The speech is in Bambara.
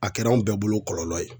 A kɛra anw bɛɛ bolo kɔlɔlɔ ye.